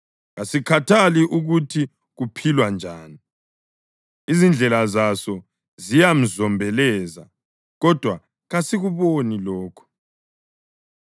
Kasikhathali ukuthi kuphilwa njani; izindlela zaso ziyazombeleza, kodwa kasikuboni lokho.